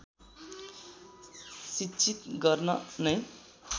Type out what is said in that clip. शिक्षित गर्न नै